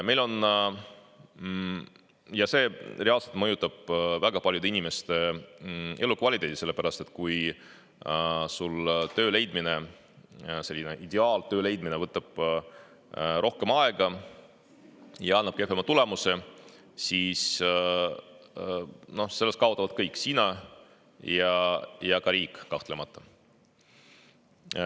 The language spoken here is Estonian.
Aga see reaalselt mõjutab väga paljude inimeste elukvaliteeti, sellepärast et kui sul töö leidmine, selline ideaaltöö leidmine võtab rohkem aega ja annab kehvema tulemuse, siis sellest kaotavad kõik: sina ja ka riik kahtlemata.